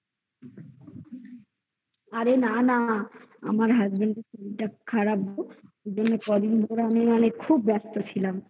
আরে না না আমার husband র শরীরটা কদিন ধরে আমি মানে খুব ব্যস্ত ছিলাম